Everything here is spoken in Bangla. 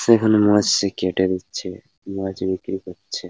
সেখানে মাছ-ই কেটে দিচ্ছে মাছ বিক্রি করছে।